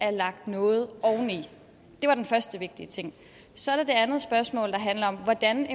er lagt noget oveni det var den første vigtige ting så er der det andet spørgsmål der handler om hvordan